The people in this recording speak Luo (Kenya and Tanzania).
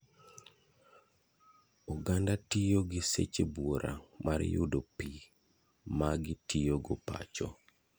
Oganda tiyi gi seche buora mar yudo pii magi tiyo go pacho.